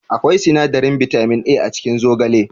Akwai sinadarin bitamin A a cikin zogale